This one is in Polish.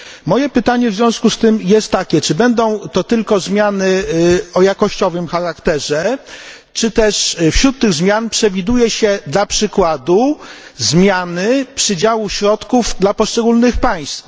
Moje pytanie w związku z tym jest takie czy będą to tylko zmiany o jakościowym charakterze, czy też wśród tych zmian przewiduje się dla przykładu zmiany przydziału środków dla poszczególnych państw?